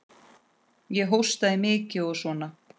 Ég hóstaði mikið og svona.